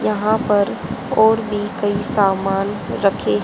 यहां पर और भी कई सामान रखे--